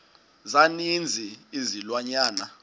za ninzi izilwanyana